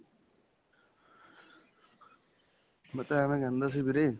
ਮੈਂ ਤਾਂ ਐਵੇਂ ਕਹਿੰਦਾ ਸੀ ਵੀਰੇ.